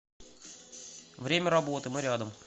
время работы мы рядом